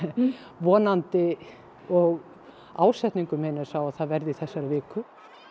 vonandi og ásetningur minn er sá að það verði í þessari viku